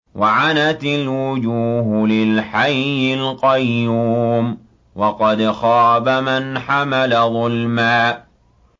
۞ وَعَنَتِ الْوُجُوهُ لِلْحَيِّ الْقَيُّومِ ۖ وَقَدْ خَابَ مَنْ حَمَلَ ظُلْمًا